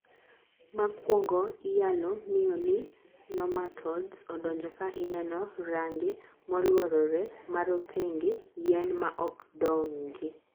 makuongo iyalo ng'eyo ni nomatodes odonjo ka ineno range moluorore marotengeen yien maok dongi